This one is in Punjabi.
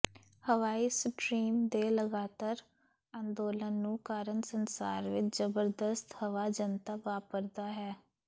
ਹਵਾਈ ਸਟਰੀਮ ਦੇ ਲਗਾਤਾਰ ਅੰਦੋਲਨ ਨੂੰ ਕਾਰਨ ਸੰਸਾਰ ਵਿਚ ਜ਼ਬਰਦਸਤ ਹਵਾ ਜਨਤਾ ਵਾਪਰਦਾ ਹੈ